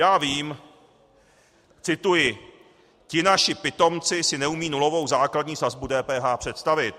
Já vím - cituji: Ti naši pitomci si neumějí nulovou základní sazbu DPH představit.